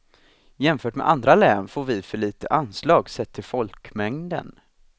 Jämfört med andra län får vi för litet anslag sett till folkmängden.